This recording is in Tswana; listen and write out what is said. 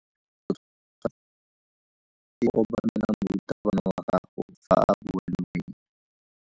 O tshwanetse go obamela morutabana wa gago fa a bua le wena.